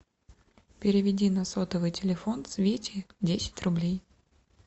переведи на сотовый телефон свете десять рублей